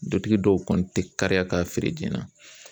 Dutigi dɔw kɔni tɛ kariya ka feere joona